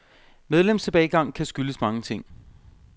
Medlemstilbagegang kan skyldes mange ting.